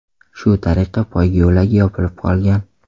Shu tariqa poyga yo‘lagi yopilib qolgan.